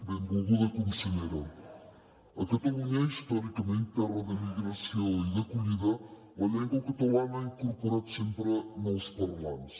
benvolguda consellera a catalunya històricament terra d’emigració i d’acollida la llengua catalana ha incorporat sempre nous parlants